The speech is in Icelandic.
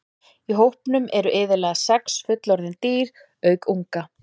Í hópnum eru iðulega sex fullorðin dýr auk unga.